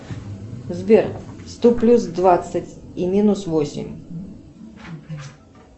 сбер сто плюс двадцать и минус восемь